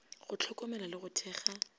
go hlokomela le go thekga